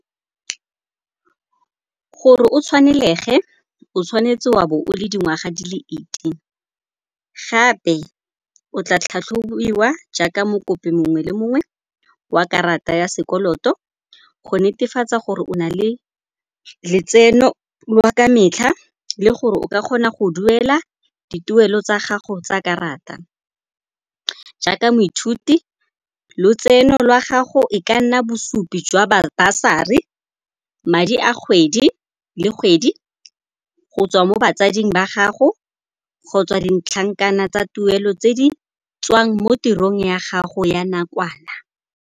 Gore o tshwanelege, o tshwanetse wa bo o le dingwaga di le eighteen, gape o tla tlhatlhobiwa jaaka mokopi mongwe le mongwe wa karata ya sekoloto go netefatsa gore o na le letseno lwa ka metlha le gore o ka kgona go duela dituelo tsa gago tsa karata. Jaaka moithuti, lotseno lwa gago e ka nna bosupi jwa basari, madi a kgwedi le kgwedi go tswa mo batsading ba gago kgotsa ditlhankana tsa tuelo tse di tswang mo tirong ya gago ya nakwana.